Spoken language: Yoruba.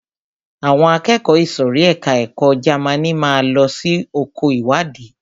Àwọn akẹ́kọ̀ọ́ ìsòrí ẹka ẹ̀kọ́ Jamaní máa lọ sí oko ìwádìí.